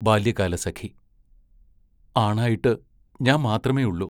ബാല്യകാലസഖി ആണായിട്ട് ഞാൻ മാത്രമേയുള്ളു.